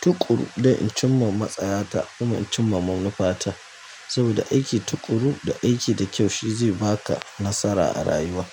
tuƙuru don in cimma matsaya ta, kuma in cimma manufata. Saboda aiki tuƙuru da aiki da kyau shi zai baka nasara a rayuwa.